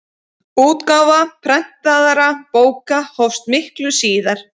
útgáfa prentaðra bóka hófst miklu síðar